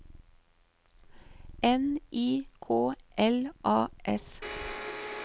N I K L A S